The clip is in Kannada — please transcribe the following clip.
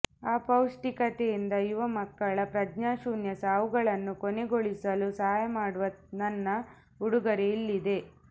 ಅಪೌಷ್ಟಿಕತೆಯಿಂದ ಯುವ ಮಕ್ಕಳ ಪ್ರಜ್ಞಾಶೂನ್ಯ ಸಾವುಗಳನ್ನು ಕೊನೆಗೊಳಿಸಲು ಸಹಾಯ ಮಾಡುವ ನನ್ನ ಉಡುಗೊರೆ ಇಲ್ಲಿದೆ